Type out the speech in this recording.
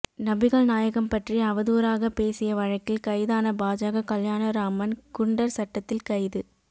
நபிகள் நாயகம் பற்றி அவதூறாக பேசிய வழக்கில் கைதான பாஜக கல்யாண ராமன் குண்டர் சட்டத்தில் கைது